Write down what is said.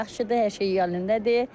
Kür yaxşıdır, hər şey yolundadır.